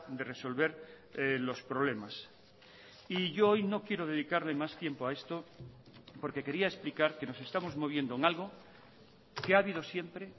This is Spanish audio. de resolver los problemas y yo hoy no quiero dedicarle más tiempo a esto porque quería explicar que nos estamos moviendo en algo que ha habido siempre